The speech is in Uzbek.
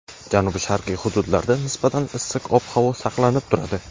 janubi-sharqiy hududlarda nisbatan issiq ob-havo saqlanib turadi.